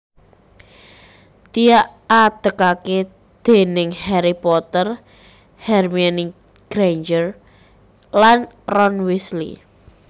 diadekake déning Harry Potter Hermione Granger lan Ron Weasley